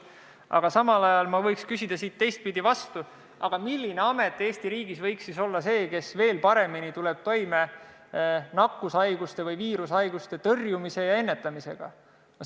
Aga samal ajal võiks ma küsida teistpidi vastu: milline amet Eesti riigis võiks olla see, kes tuleks viirushaiguse või mõne muu nakkushaiguse tõrjumise ja ennetamisega veel paremini toime?